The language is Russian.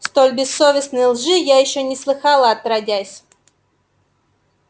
столь бессовестной лжи я ещё не слыхала отродясь